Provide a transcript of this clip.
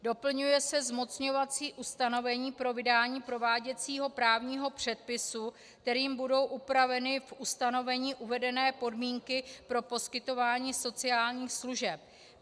Doplňuje se zmocňovací ustanovení pro vydání prováděcího právního předpisu, kterým budou upraveny v ustanovení uvedené podmínky pro poskytování sociálních služeb.